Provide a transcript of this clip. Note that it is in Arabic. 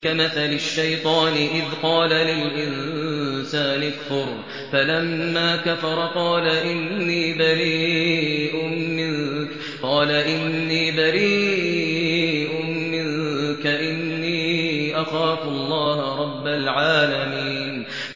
كَمَثَلِ الشَّيْطَانِ إِذْ قَالَ لِلْإِنسَانِ اكْفُرْ فَلَمَّا كَفَرَ قَالَ إِنِّي بَرِيءٌ مِّنكَ إِنِّي أَخَافُ اللَّهَ رَبَّ الْعَالَمِينَ